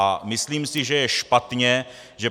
A myslím si, že je špatně, že